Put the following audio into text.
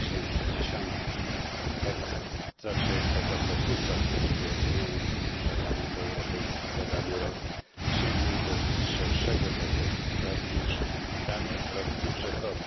2010. Jak zawsze jest taka pokusa, żeby oceniając Parlament Europejski za dany rok, sięgnąć do szerszego zakresu spraw niż dany rok budżetowy.